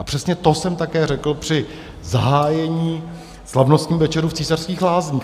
A přesně to jsem také řekl při zahájení slavnostních večerů v Císařských lázních.